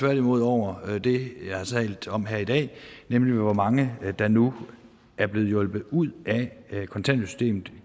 derimod over det jeg har talt om her i dag nemlig hvor mange der nu er blevet hjulpet ud af kontanthjælpssystemet